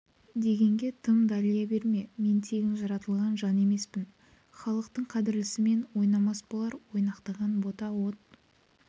дегенге тым далия берме мен тегін жаратылған жан емеспін халықтың қадірлісімен ойнамас болар ойнақтаған бота от